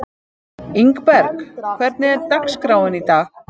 Ingberg, hvernig er dagskráin í dag?